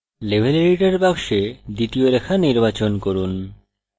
level editor box দ্বিতীয় রেখা নির্বাচন করুন